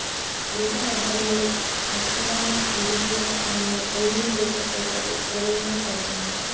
greater రహదారులలో మసకబారిన వీధిదీపాల స్థానంలో ఎల్ఈడీ లైట్ల ఏర్పాటు శరవేగంగా సాగుతోంది